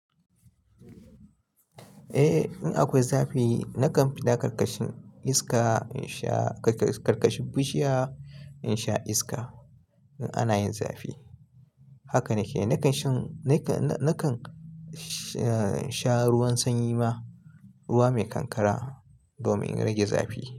Eh, in akwai zafi nakan fi da karkashin iska, in sha karkashin bushiya, in sha iska in ana yin zafi. Haka nake, nakan sha ruwan sanyi ma, ruwa mai kankara domin in rage zafi.